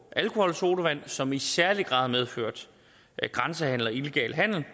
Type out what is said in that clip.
alkoholsodavand som i særlig grad har medført grænsehandel og illegal handel